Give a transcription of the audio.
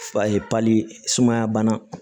sumaya bana